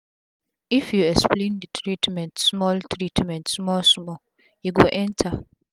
if u explain d treatment small treatment small small e go enter